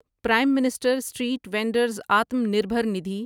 Prem minister street vendors Atma Nirbhar Nidhi